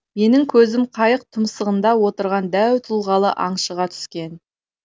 менің көзім қайық тұмсығында отырған дәу тұлғалы аңшыға түскен